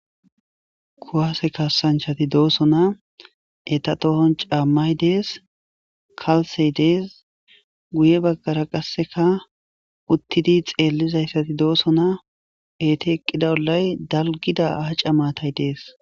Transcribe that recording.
Kuwase kassanchati dooso na eta tohon caammay dees kalsey dees guye baggara qasseka uttidi xeellizayssati doosona eti eqqida olay dalgida aca matay dees.